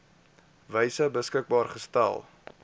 wyse beskikbaar gestel